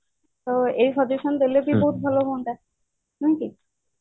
ତ ଏଇ suggestion ଦେଲେ ବି ବହୁତ ଭଲ ହୁଅନ୍ତା ନୁହେଁ କି